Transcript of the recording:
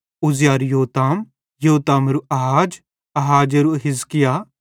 उज्जियाहरू योताम योतामेरू आहाज आहाजेरू हिजकिय्‍याह